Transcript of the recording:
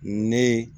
Ne ye